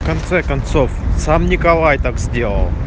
в конце концов сам николай так сделал